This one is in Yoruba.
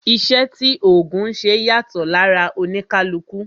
Iṣẹ́ tí ògùn ńṣe yàtọ̀ lára oníkálukú